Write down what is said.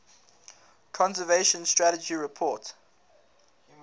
conservation strategy report